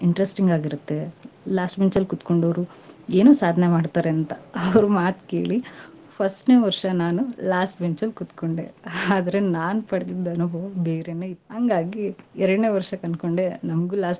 Interesting ಆಗಿರತ್ತೆ. last bench ಅಲ್ಲಿ ಕುತ್ಕೊಂಡೋರು ಏನೋ ಸಾಧನೆ ಮಾಡ್ತಾರೆ ಅಂತಾ , ಅವ್ರ ಮಾತ್ ಕೇಳಿ, first ನೇ ವರ್ಷಾ ನಾನು last bench ಅಲ್ ಕುತ್ಕೊಂಡೆ. ಆದ್ರೆ ನಾನ್ ಪಡೆದಿದ್ ಅನುಭವಾ ಬೇರೇನೆ. ಹಂಗಾಗಿ, ಎರಡ್ನೇ ವರ್ಷಕ್ ಅನ್ಕೊಂಡೆ, ನಮಗೂ.